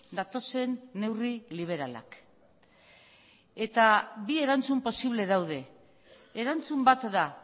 datozen neurri liberalak eta bi erantzun posible daude erantzun bat da